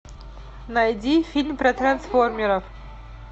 найди фильм про трансформеров